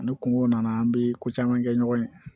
Ani kungo nana an bɛ ko caman kɛ ɲɔgɔn ye